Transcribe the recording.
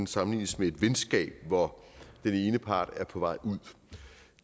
sammenlignes med et venskab hvor den ene part er på vej ud